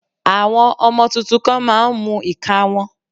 Àwọn ọmọ tuntun kan má a ń mú ìka wọn